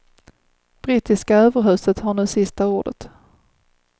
Brittiska överhuset har nu sista ordet.